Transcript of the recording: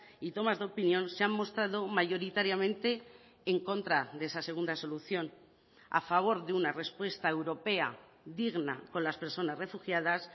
y tomas de opinión se han mostrado mayoritariamente en contra de esa segunda solución a favor de una respuesta europea digna con las personas refugiadas